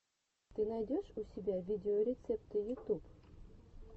ты найдешь у себя видеорецепты ютуб